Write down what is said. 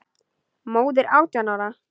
Móðir átján ára?